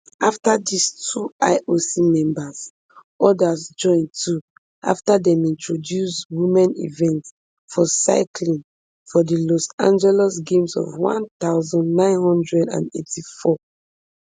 afta dis two ioc members odas join too afta dem introduce womens events for cycling for di los angeles games of one thousand, nine hundred and eighty-four